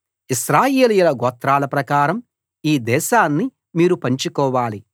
ఇశ్రాయేలీయుల గోత్రాల ప్రకారం ఈ దేశాన్ని మీరు పంచుకోవాలి